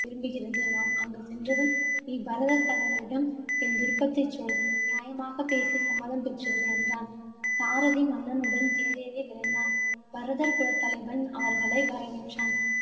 விரும்புகிறது. நாம் அங்கு சென்றதும், நீ பரதர் தலைவனிடம் என் விருப்பத்தைச் சொல். நியாமாகப் பேசி சம்மதம் பெற்று விடு, என்றான். சாரதி மன்னனுடன் தேரேறி விரைந்தான். பரதர் குலத்தலைவன் அவர்களை வரவேற்றான்.